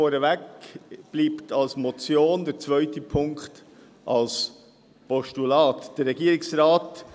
Der erste Punkt bleibt als Motion bestehen, der zweite Punkt wird in ein Postulat gewandelt.